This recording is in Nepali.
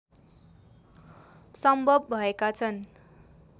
सम्भव भएका छन्